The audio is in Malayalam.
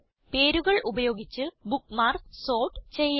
പേരുകൾ ഉപയോഗിച്ച് ബുക്ക്മാർക്സ് സോർട്ട് ചെയ്യാം